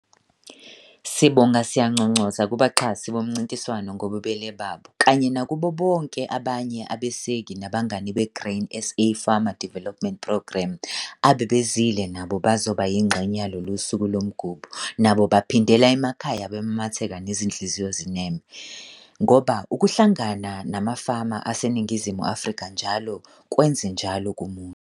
Sibonga siyanconcoza kubaxhasi bomncintwano ngobubele babo kanye nakubo bonke abanye abeseki nabangani beGrain SA Farmer Development Programme abebezile nabo bazoba yingxenye yaloLUSUKU LOMGUBHO nabo baphindela emakhaya bemamatheka nezinhliziyo zineme - ngoba ukuhlangana namafama aseNingizimu Afrika NJALO kwenze njalo kumuntu!